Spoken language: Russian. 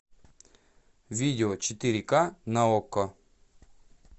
видео четыре ка на окко